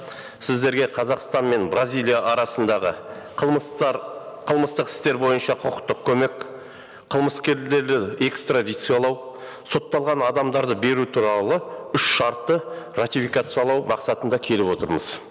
сіздерге қазақстан мен бразилия арасындағы қылмыстық істер бойынша құқықтық көмек экстрадициялау сотталған адамдарды беру туралы үш шартты ратификациялау мақсатында келіп отырмыз